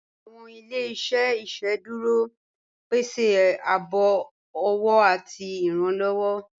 Awọn ilẹ̀-iṣẹ̀ iṣẹ́dúró pẹ̀sẹ ààbò ọwọ̀ àti ìrànlowọ